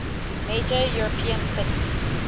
major european cities